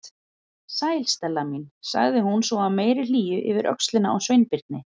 Sæl, Stella mín- sagði hún svo af meiri hlýju yfir öxlina á Sveinbirni.